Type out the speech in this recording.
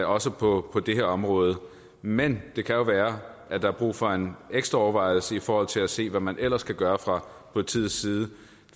også på det her område men det kan jo være at der er brug for en ekstra overvejelse i forhold til at se hvad man ellers kan gøre fra politiets side